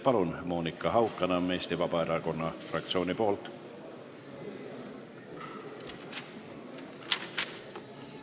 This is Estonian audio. Palun, Monika Haukanõmm Eesti Vabaerakonna fraktsiooni nimel!